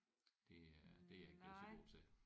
Det er det er jeg ikke blevet så god til